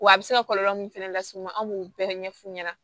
Wa a bɛ se ka kɔlɔlɔ min fɛnɛ las'i ma an b'o bɛɛ ɲɛfu ɲɛna